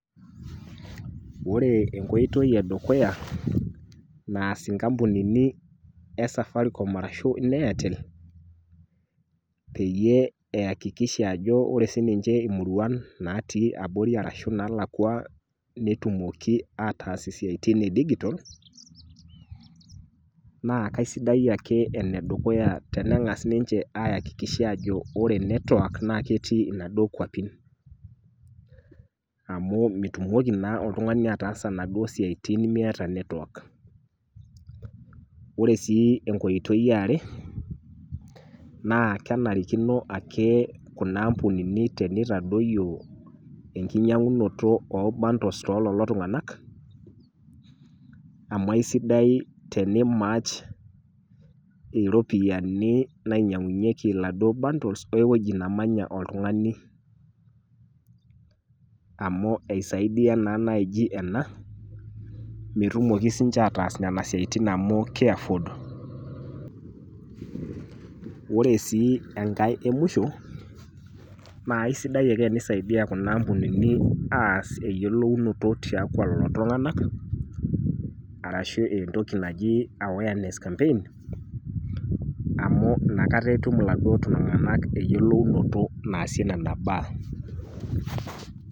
Ore enkoitoi edukuya naas inkampunini e safaricom ashu ine airtel peyie eyakikisha ajo ore siniche imuruan natii abori ashu naalakwa , netumoki ataas isiatin e digital naa kaisidai ake ene dukuya , tenengas ninche ayakikisha ajo ore network naa ketii inaduo kwapi amu mitoki naa oltungani ataasa inaduo siatin miata network . ore sii enkoitoi eare naa kenarikino ake nena ampunini nitaoyio enkinyangunoto oo bundles too lelo tunganak amu aisidai tenimarch iropiyiani nainyiangunyieki iladuo bundles ewueji nemanya oltungani amu isaidia naa naji ena metumoki sininche ataas nena siatin amu kiafford . Ore sii enkae emwisho naa isidai ake tenisaidia kuna ampunini aas eyiolounoto tiatua lelo tunganak arashu entoki naji awareness campaign amu inakata etum lelo tunganak eyiolounoto naasie nena baa.